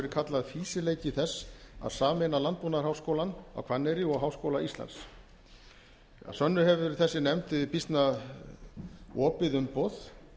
verið kallað fýsileiki þess að sameina landbúnaðarháskólann á hvanneyri og háskóla íslands að sönnu hefur þessi nefnd býsna opið umboð